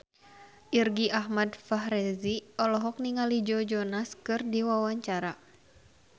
Irgi Ahmad Fahrezi olohok ningali Joe Jonas keur diwawancara